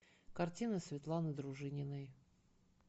картины светланы дружининой